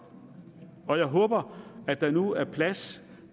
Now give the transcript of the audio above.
og jeg håber at der nu er plads